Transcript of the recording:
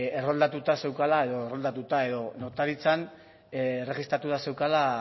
erroldatuta zeukala edo erroldatuta edo notaritzan erregistratuta zeukala